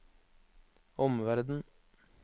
omverden